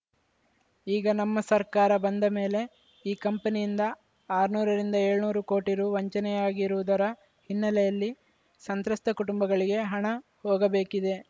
ಈಗ ನಮ್ಮ ಸರ್ಕಾರ ಬಂದ ಮೇಲೆ ಈ ಕಂಪನಿಯಿಂದ ಆರ್ನೂರರಿಂದ ಏಳ್ನೂರು ಕೋಟಿ ರು ವಂಚನೆಯಾಗಿರುವುದರ ಹಿನ್ನೆಲೆಯಲ್ಲಿ ಸಂತ್ರಸ್ತ ಕುಟುಂಬಗಳಿಗೆ ಹಣ ಹೋಗಬೇಕಿದೆ